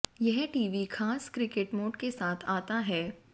यह टीवी खास cricket mode के साथ आता है